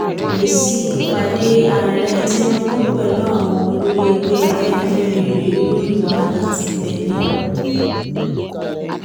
èsì ìpàdé ààrẹ tinubu pẹ̀lú àwọn olórí ẹgbẹ́ afẹ́nifẹ́re rèé lórí wàhálà tí ń bẹ ní lùú